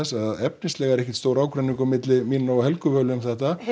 að efnislega er ekkert stór ágreiningur milli mín og Helgu Völu um þetta